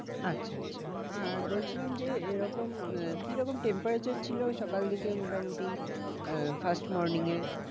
আচ্ছা আচ্ছা আর বলছিলাম যে এরকম আহ কিরকম temperature ছিল সকাল দিকে মোটামুটি আহ first morning এ?